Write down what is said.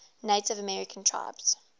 native american tribes